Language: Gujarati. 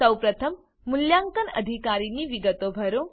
સૌપ્રથમ મૂલ્યાંકન અધિકારીની વિગતો ભરો